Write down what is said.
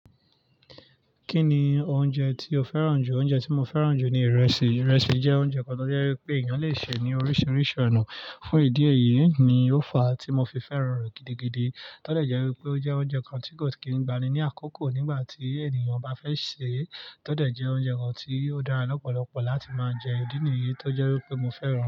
Kí ni oúnjẹ tí o fẹ́ràn jù? Oúnjẹ tí mo fẹ́ràn jù ni ìrẹsì. Ìrẹsì jẹ́ oúnjẹ kan tó jẹ́ wípé èèyàn le ṣe ní oríṣiríṣi ọ̀nà. Fún ìdí èyí ni ó fa tí mo fi fẹ́ràn rẹ gidigidi. Tó dẹ jẹ́ wípé ó jẹ́ oúnjẹ kan tí kò kí n gbani ní àkókò nígbà tí ènìyàn bá fẹ́ sè é. Tótọ́ jẹ́ oúnjẹ kan tí ó dára lọ́pọ̀lọpọ̀ láti máa jẹ. Idi niyi tó jẹ́ wípé mo fẹ́ràn rẹ̀